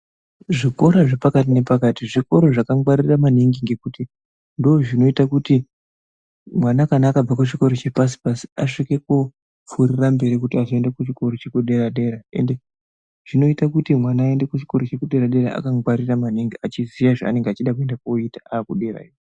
Zvikora zvepakati nepakati zvikoro zvakangwarira maningi ngekuti ndozvinoita kuti mwana kana akabva kuchikoro chepashi pashi asvikopfuurira mberi kuti azoenda kuchikora chekudera dera ende zvinoita kuti mwana aende kuchikora chekudera dera akangwarira maningi achiziye zvaanenge achida koenda koita akuderayo.